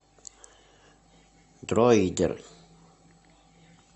дроидер